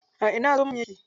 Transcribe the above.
A ina zomo yake?